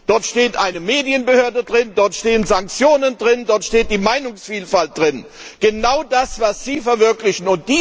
Dort steht eine Medienbehörde drin, dort stehen Sanktionen drin, dort steht die Meinungsvielfalt drin. Genau das, was Sie verwirklichen.